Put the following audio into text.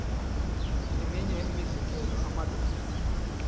eminye imizekelo amadoda